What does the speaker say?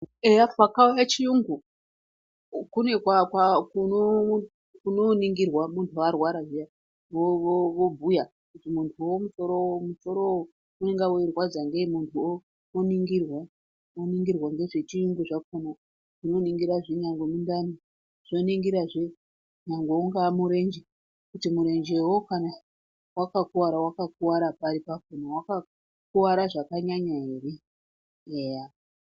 Eya pakauye chiyungu kune kwa/kunoningirwe muntu arwara zviya vobhuya kuti munhuwo musoro ,musorowo unonga weirwadza ngei munhuwo oningirwa ,oningirwa ngezvechiyungu zvakona zvinoningra nyangwe nemudhani zvoningirazve munhu ungaa murenje kuti murenjewo kana wakauwara, wakakuwara pari, pakona, wakakuwara zvakanyanya ere, eya!